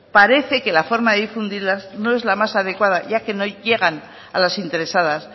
parece que la forma de difundirlas no es la más adecuada ya que no llegan a las interesadas